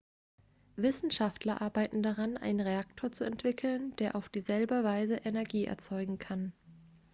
wissenschaftler arbeiten daran einen reaktor zu entwickeln der auf dieselbe weise energie erzeugen kann